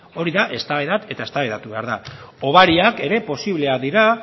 hori da eztabaida eta eztabaidatu behar da hobariak ere posibleak dira